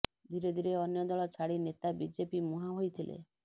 ଧିରେ ଧିରେ ଅନ୍ୟ ଦଳ ଛାଡ଼ି ନେତା ବିଜେପି ମୁହାଁ ହୋଇଥିଲେ